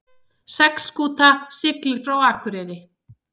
Seglskúta siglir frá Akureyri